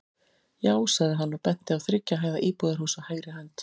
Já, sagði hann og benti á þriggja hæða íbúðarhús á hægri hönd.